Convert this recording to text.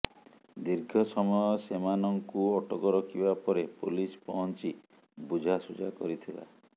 ଦୀର୍ଘ ସମୟ ସେମାନଙ୍କୁ ଅଟକ ରଖିବା ପରେ ପୋଲିସ ପହଂଚି ବୁଝାସୁଝା କରିଥିଲା